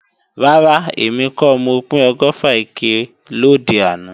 Rárá, èmi kọ́ mo pín ọgọ́fà ike lòde àná